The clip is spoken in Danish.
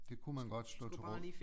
Det kunne man godt slå til råd